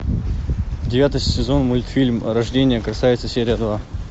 девятый сезон мультфильм рождение красавицы серия два